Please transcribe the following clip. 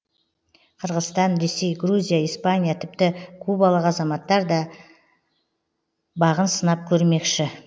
қырғызстан ресей грузия испания тіпті кубалық азаматтар да бағын сынап көрмекші